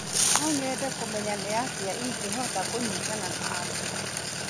No nyende kũmenya nĩ atĩa ingĩhota kũnyitana na angĩ.